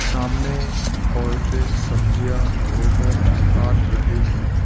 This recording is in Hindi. सामने औरतें सब्जियां धोकर काट रही है--